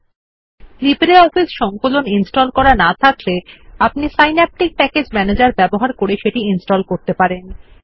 আপনার যদি লিব্রিঅফিস সংকলন ইনস্টল না করা থাকে তাহলে আপনি সিন্যাপটিক প্যাকেজ ম্যানেজের ব্যবহার করে সেটি ইনস্টল করতে পারেন